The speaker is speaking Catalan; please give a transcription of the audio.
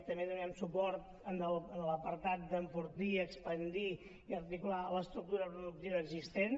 també donarem suport en l’apartat d’enfortir expandir i articular l’estructura productiva existent